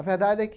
A verdade é que